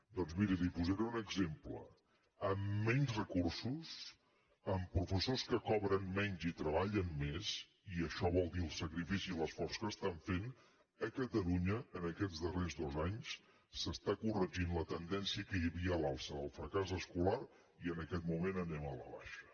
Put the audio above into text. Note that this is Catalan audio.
doncs miri li’n posaré un exemple amb menys recursos amb professors que cobren menys i treballen més i això vol dir el sacrifici i l’esforç que estan fent a catalunya aquests darrers dos anys s’està corregint la tendència que hi havia a l’alça del fracàs escolar i en aquest moment anem a la baixa